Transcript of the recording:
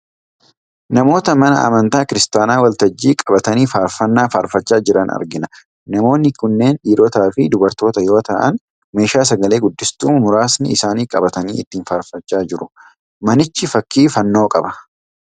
Namoota mana amantaa kiristaanaa waltajjii qabatanii faarfannaa faarfachaa jiran argina. Namoonni kunneen dhiirotaa fi dubartoota yoo ta'an, meeshaa sagalee guddistuu muraasni isaanii qabatanii ittiin faarfachaa jiru. Manichi fakkii fannoo qaba.